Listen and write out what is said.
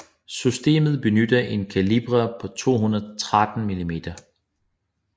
Systemet benytter en kaliber på 213 mm